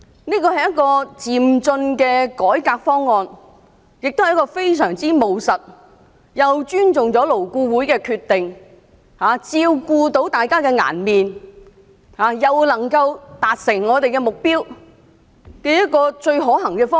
這是一個漸進的改革方案，亦非常務實，是既尊重勞工顧問委員會的決定，照顧大家的顏面，又能夠達成我們目標的一個最可行的方案。